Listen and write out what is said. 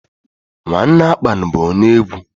Nwanne Akpan bụ onye egwu.